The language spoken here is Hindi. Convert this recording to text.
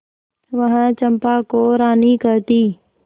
वह चंपा को रानी कहती